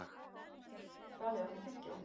Dalí, áttu tyggjó?